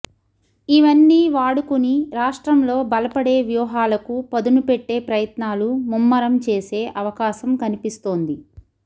ఇవన్నీ వాడుకుని రాష్ట్రంలో బలపడే వ్యూహాలకు పదునుపెట్టే ప్రయత్నాలు ముమ్మరం చేసే అవకాశం కనిపిస్తోంది